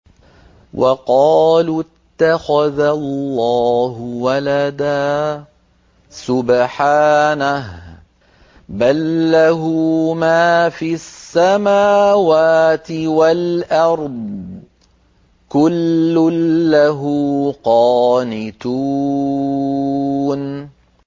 وَقَالُوا اتَّخَذَ اللَّهُ وَلَدًا ۗ سُبْحَانَهُ ۖ بَل لَّهُ مَا فِي السَّمَاوَاتِ وَالْأَرْضِ ۖ كُلٌّ لَّهُ قَانِتُونَ